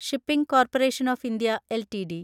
shipping corporation of India LTD